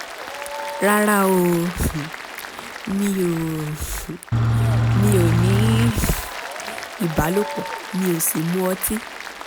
rárá o um mi ò um mi ò ní um ìbálòpọ̀ mi ò sì mu ọtí